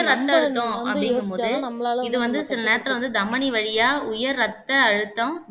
உயர் ரத்த அழுத்தம் அப்டிங்குபோது இது வந்து சில நேரத்துல தமனி வழியா உயர் ரத்த அழுத்தம்